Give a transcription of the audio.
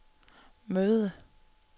møde